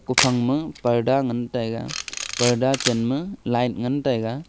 kophang ma parda ngan taiga parda chenma light ngantaiga.